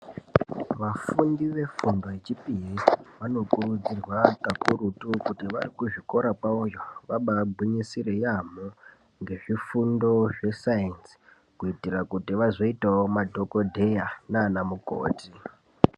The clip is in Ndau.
Vafundi vefundo yechipiri vanokurudzirwa kakurutu kuti varikuzvikora kwavoyo vabaagwinyisire yaamho ngezvifundo zvesainzi. Kuitira kuti vazoitawo madhogodheya naana mukoti.